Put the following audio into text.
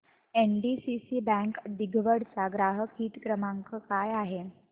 NDCC bank दिघवड चा ग्राहक हित क्रमांक काय आहे